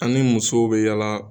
An ni musow bɛ yala